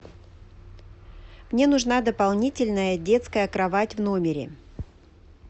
мне нужна дополнительная детская кровать в номере